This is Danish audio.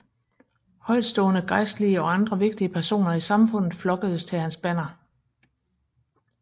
Højtstående gejstelige og andre vigtige personer i samfundet flokkedes til hans banner